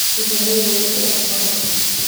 Illahey waika Aqbale.